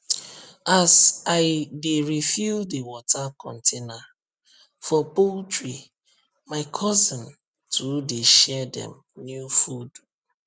as i dey refill the water container for poultrymy cousin too dey share dem new food